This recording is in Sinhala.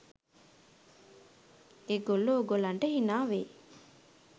ඒ ගොල්ලෝ ඕගොල්ලන්ට හිනා වෙයි